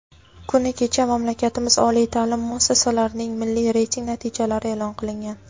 Kuni kecha mamlakatimiz oliy taʼlim muassasalarining milliy reyting natijalari eʼlon qilingan.